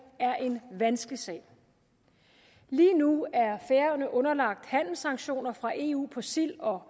er en vanskelig sag lige nu er færøerne underlagt handelssanktioner fra eu på silde og